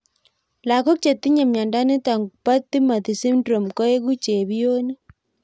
Lagók chetinye miondo nitok po Timothy syndrome koeku chepionik